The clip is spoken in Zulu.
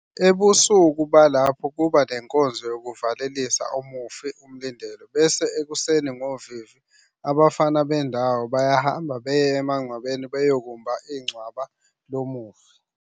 Ebusuku balapho kuba nenkonzo yokuvalelisa umufi, umlindelo, bese ekuseni ngovivi abafana bendawo bayahamba beye emagcwabeni beyokumba incwaba lo mufi.